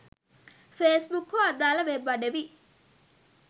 Facebook හෝ අදාල web අඩවි